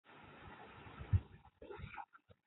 Jeka ka kirawo min Talle.